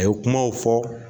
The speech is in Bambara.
A ye kumaw fɔ